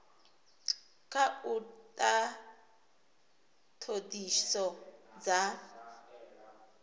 kha u ita ṱhoḓisiso dza